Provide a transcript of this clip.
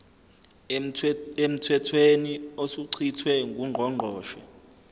emthethweni osuchithiwe ngungqongqoshe